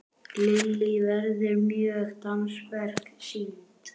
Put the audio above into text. Lillý, verða mörg dansverk sýnd?